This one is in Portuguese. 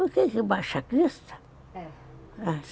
Baixacrista? É.